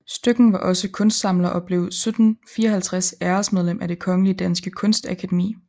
Støcken var også kunstsamler og blev 1754 æresmedlem af Det Kongelige Danske Kunstakademi